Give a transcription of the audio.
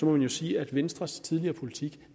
man jo sige at venstres tidligere politik